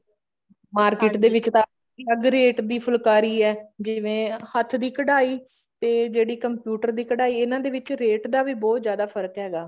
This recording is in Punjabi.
market ਦੇ ਵਿੱਚ ਤਾਂ ਅਲੱਗ ਰੇਟ ਦੀ ਫੁਲਕਾਰੀ ਹੈ ਜਿਵੇਂ ਹੱਥ ਦੀ ਕਢਾਈ ਤੇ ਜਿਹੜੀ computer ਦੀ ਕਢਾਈ ਇਹਨਾ ਦੇ ਵਿੱਚ ਰੇਟ ਦਾ ਵੀ ਬਹੁਤ ਜਿਆਦਾ ਫਰਕ ਹੈਗਾ